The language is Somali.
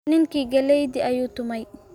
ninkii galleydii ayuu tumay